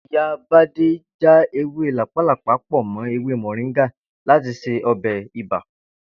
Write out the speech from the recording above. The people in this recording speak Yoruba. Ìyá Bádé já ewé làpálàpá pò̩ mó̩ ewé mò̩ríngà láti se o̩bè̩ ibà